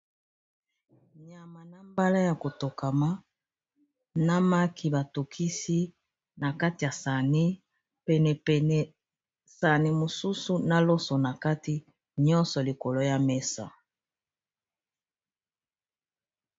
Nyama na mbala ya kotokama namaki batokisi na kati ya sani penepene sani mosusu na loso na kati nyonso likolo ya mesa.